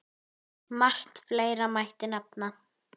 Margt fleira mætti nefna.